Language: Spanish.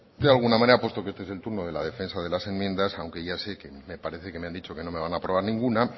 de alguna manera puesto que este es el turno de la defensa de las enmiendas aunque ya sé me parece que me han dicho que no me van a aprobar ninguna